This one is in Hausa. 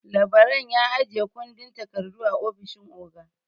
Labaran ya ajiye kundin takardu a ofishin oga.